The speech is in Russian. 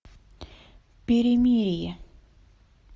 перемирие